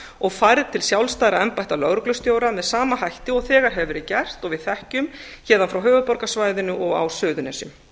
og færð til sjálfstæðra embætta lögreglustjóra með sama hætti og þegar hefur verið gert og við þekkjum héðan frá höfuðborgarsvæðinu og á suðurnesjum